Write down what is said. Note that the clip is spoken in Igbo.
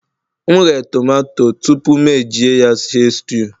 M ghee tomato tupu m eji ya stew